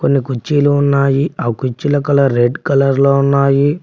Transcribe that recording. కుర్చీలు ఉన్నాయి ఆ కుర్చీల కలర్ రెడ్ కలర్లో ఉన్నాయి.